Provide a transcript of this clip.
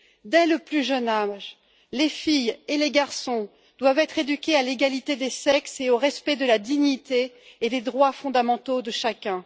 Dès le plus jeune âge, les filles et les garçons doivent être éduqués à l'égalité des sexes et au respect de la dignité et des droits fondamentaux de chacun.